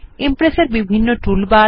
Impress এর বিভিন্ন toolbar